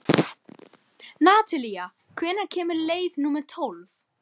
Natalía, hvenær kemur leið númer tólf?